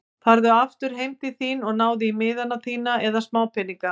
Farðu aftur heim til þín og náðu í miðana þína eða smápeninga.